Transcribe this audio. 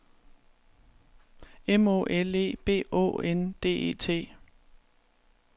M Å L E B Å N D E T